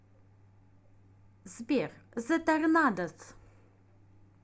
сбер зэ торнадос